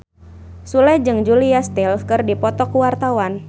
Sule jeung Julia Stiles keur dipoto ku wartawan